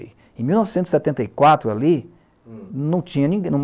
Em mil novecentos e setenta e quatro, ali, hm, não morava ninguém,